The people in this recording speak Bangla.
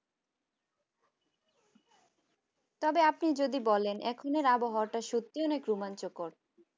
তবে আপনি যদি বলেন এখন এর আবহাওয়াটা সত্যিই অনেক রোমাঞ্চকর